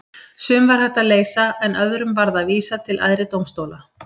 Sum var hægt að leysa en öðrum varð að vísa til æðri dómstóla.